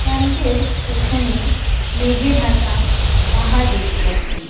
পাম্পের পেছনে মেঘে ঢাকা পাহাড় দেখতে পাচ্ছি।